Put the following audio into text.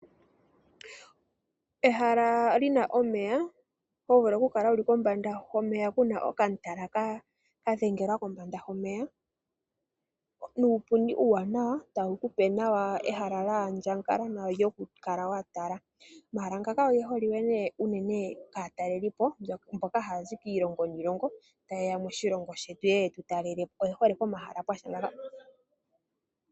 Ehala li na omeya ho vulu okukala wu li kombanda yomeya, ku na okatala ka dhengelwa kombanda yomeya nuupundi uuwanawa tawu ku pe ehala lya andjuka nawa okukala wa tala. Omahala ngaka oge holike nduno kaatalelipo mboka haya zi kiilongo niilongo taye ya moshilongo shetu ye ye yetu talele po.